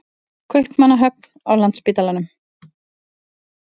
Kaupmannahöfn, á Landspítalanum.